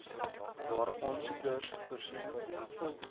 waar aansoekers voorsien